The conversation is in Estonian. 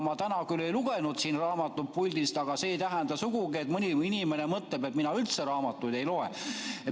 Ma täna küll ei lugenud raamatut siit puldist, aga see ei tähenda sugugi seda, mida mõni inimene mõtleb, et mina üldse raamatuid ei loe.